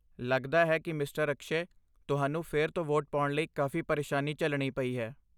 ਲੱਗਦਾ ਹੈ ਕਿ ਮਿਸਟਰ ਅਕਸ਼ੈ, ਤੁਹਾਨੂੰ ਫਿਰ ਤੋਂ ਵੋਟ ਪਾਉਣ ਲਈ ਕਾਫੀ ਪਰੇਸ਼ਾਨੀ ਝੱਲਣੀ ਪਈ ਹੈ।